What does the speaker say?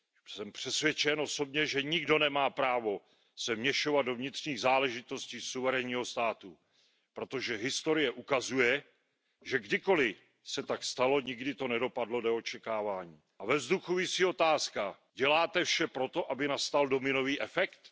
Jsem přesvědčen osobně, že nikdo nemá právo se vměšovat do vnitřních záležitostí suverénního státu, protože historie ukazuje, že kdykoli se tak stalo, nikdy to nedopadlo dle očekávání. Ve vzduchu visí otázka Děláte vše proto, aby nastal dominový efekt?